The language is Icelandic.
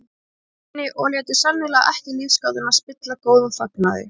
Borginni og létu sennilega ekki lífsgátuna spilla góðum fagnaði.